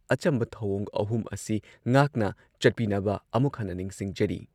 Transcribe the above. ꯑꯆꯝꯕ ꯊꯧꯑꯣꯡ ꯑꯍꯨꯝ ꯑꯁꯤ ꯉꯥꯛꯅ ꯆꯠꯄꯤꯅꯕ ꯑꯃꯨꯛ ꯍꯟꯅ ꯅꯤꯡꯁꯤꯡꯖꯔꯤ